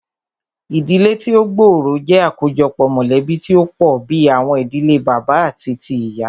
Ìdílé tí o gbóòrò jẹ́ àkójọpọ̀ mọ̀lẹ̀bí tí o pọ̀ bìí àwọn ìdílé bàbá àti tíì ìyá.